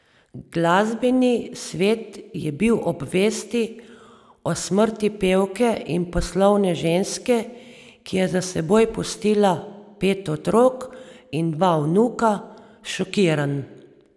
Glasbeni svet je bil ob vesti o smrti pevke in poslovne ženske, ki je za seboj pustila pet otrok in dva vnuka, šokiran.